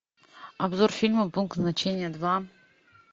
обзор фильма пункт назначения два